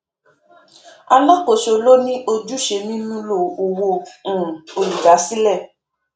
alákòóso ló ní ojúṣe mímúlò owó um olùdásílẹ